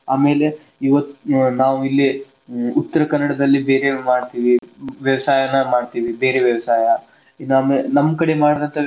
ಆಮೇಲೆ ಇವತ್ತ್ ್ ನಾವ್ ಇಲ್ಲೆ ಉತ್ತರಕನ್ನಡದಲ್ಲಿ ಹೇಗೆಗ ಮಾಡ್ತೇವಿ ವ್ಯವಸಾಯನ ಮಾಡ್ತೇವಿ ಬೇರೆ ವ್ಯವಸಾಯ ನಮ~ ನಮ್ ಕಡೆ ಮಾಡುವಂತ.